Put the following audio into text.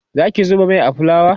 Zaki zuba Mai a fulawa?